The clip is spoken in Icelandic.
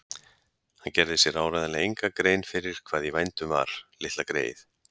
Hann gerði sér áreiðanlega enga grein fyrir hvað í vændum var, litla greyið.